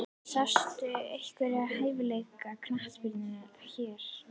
Sástu einhverja hæfileikaríka knattspyrnumenn hér?